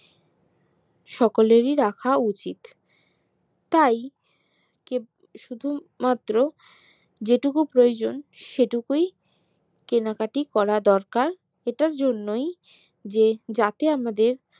সকলেরই রাখা উচিত তাই শুধু মাত্র যেটুকু প্রয়োজন সেটুকুই কেনাকাটা করা দরকার এটার জন্যই যে যাতে আমাদের